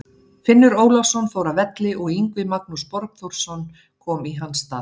Finnur Ólafsson fór af velli og Yngvi Magnús Borgþórsson kom í hans stað.